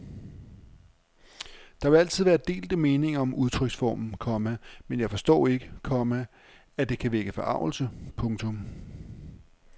Der vil altid være delte meninger om udtryksformer, komma men jeg forstår ikke, komma at det kan vække forargelse. punktum